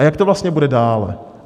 A jak to vlastně bude dále?